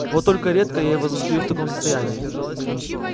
вот только редко я его застаю в таком состоянии